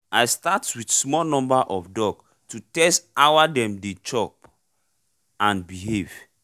i start with small number of duck to test our dem dey chop and behave